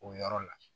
O yɔrɔ la